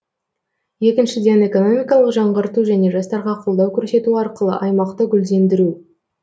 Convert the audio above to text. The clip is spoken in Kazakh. екіншіден экономикалық жаңғырту және жастарға қолдау көрсету арқылы аймақты гүлдендіру